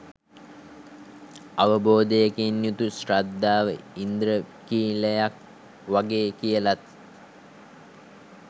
අවබෝධයකින් යුතු ශ්‍රද්ධාව ඉන්ද්‍රඛීලයක් වගේ කියලත්